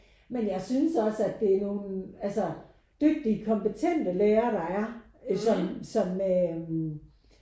Men jeg synes også at det er nogen altså dygtige og kompetente lærer der er sådan sådan med øh